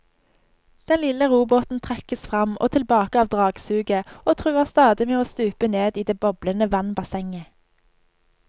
Den lille robåten trekkes frem og tilbake av dragsuget og truer stadig med å stupe ned i det boblende vannbassenget.